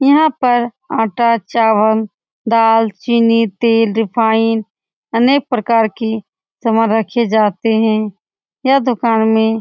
यहाँ पर आटा चावल दाल चीनी तेल रिफाइन अनेक प्रकार की समान रखे जाते हैं यह दूकान में --